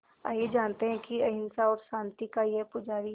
आइए जानते हैं कि अहिंसा और शांति का ये पुजारी